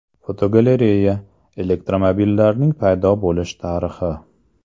Fotogalereya: Elektromobillarning paydo bo‘lish tarixi.